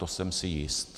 To jsem si jist.